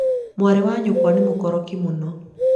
mwarĩ wa nyũkwa nĩ mũkoroki mũno